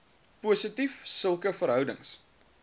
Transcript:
positief sulke verhoudings